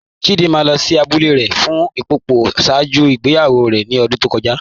Chídìmà lọ sí àbúlẹ̀ rẹ̀ fún Ḿpòpò ṣáàjú ìgbèyàwó rẹ̀ ní ọ̀dún tó kọ́já